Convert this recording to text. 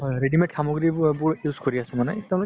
readymade সামগ্ৰীবোৰ use কৰি আছো মানে